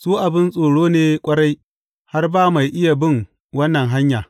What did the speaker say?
Su abin tsoro ne ƙwarai, har ba mai iya bin wannan hanya.